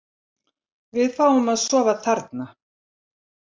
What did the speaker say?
Við fáum að sofa þarna.